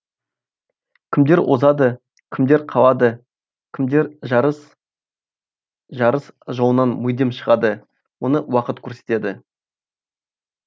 кімдер озады кімдер қалады кімдер жарыс жарыс жолынан мүлдем шығады мұны уақыт көрсетеді